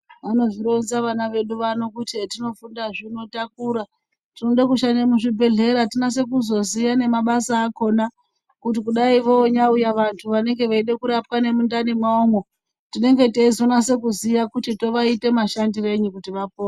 Vamozvironza vana vedu vano kuti hetinofundazve takura tinode kushanda muzvibhehlera tinoda kuzoziya nemabasa akona kuti kunyai vouya vantu vanenge veida kurapwa nemundani mwavomwo tinenge teizonase kuziya kuti tovaite mashandirenyi kuti vapore.